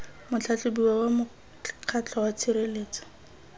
motlhatlhobiwa wa mokgatlho wa tshireletso